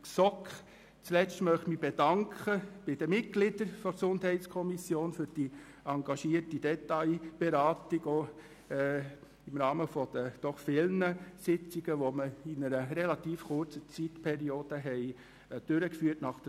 Zuletzt möchte ich mich bei den Mitgliedern der GSoK für die engagierte Detailberatung im Rahmen der vielen Sitzungen, die wir nach der Sommerpause innerhalb relativ kurzer Zeit durchgeführt haben, bedanken.